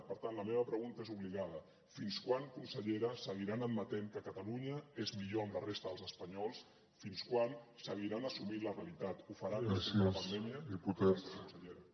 per tant la meva pregunta és obligada fins quan consellera seguiran admetent que catalunya és millor amb la resta dels espanyols fins quan seguiran assumint la realitat ho faran després de la pandèmia gràcies consellera